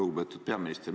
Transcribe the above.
Lugupeetud peaminister!